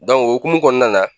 Dɔn o hokumu kɔnɔna na